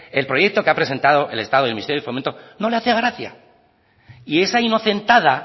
el proyecto que ha presentado el estado el ministerio de fomento no le hacía gracia y esa inocentada